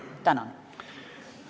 Tänan!